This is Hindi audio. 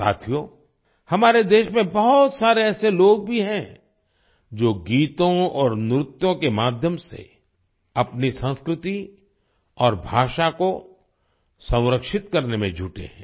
साथियो हमारे देश में बहुत सारे ऐसे लोग भी हैं जो गीतों और नृत्यों के माध्यम से अपनी संस्कृति और भाषा को संरक्षित करने में जुटे हैं